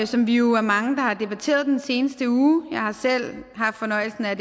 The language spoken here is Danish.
som vi jo er mange der har debatteret i den seneste uge jeg har selv haft fornøjelsen af